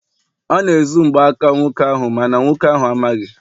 ọ na-ezu mgbaaka nwoke ahụ- mana nwoke ahụ amaghị